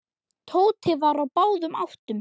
Tóti var á báðum áttum.